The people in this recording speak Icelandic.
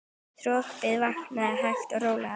Þorpið vaknar hægt og rólega.